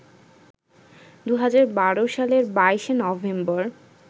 ২০১২ সালের ২২ নভেম্বর